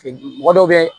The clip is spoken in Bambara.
Mɔgɔ dɔw be